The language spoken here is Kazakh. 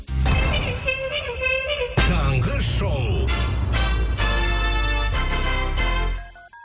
таңғы шоу